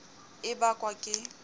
mdr tb e bakwa ke